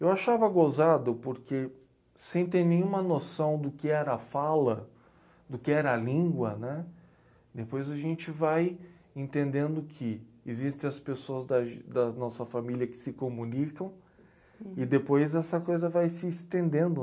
Eu achava gozado porque, sem ter nenhuma noção do que era a fala, do que era a língua, né? Depois a gente vai entendendo que existem as pessoas da g da nossa família que se comunicam e depois essa coisa vai se estendendo.